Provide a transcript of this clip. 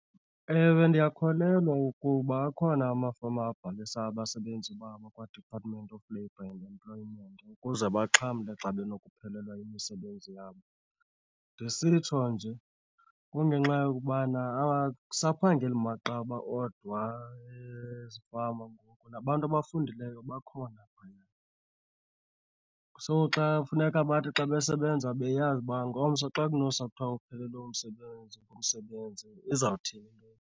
Ewe, ndiyakholelwa ukuba akhona amafama abhalisa abasebenzi babo kwaDepartment of Labour and Employment ukuze baxhamle xa benokuphelelwa yimisebenzi yabo. Ndisitsho nje kungenxa yokubana akusaphangeli maqaba odwa ezifama ngoku nabantu abafundileyo bakhona phayana. So xa kufuneka bathi xa besebenza beyazi uba ngomso xa kunosa kuthiwa uphelelwe ngumsebenzi izawuthini into .